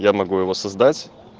я могу его создать